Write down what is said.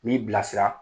N'i bilasira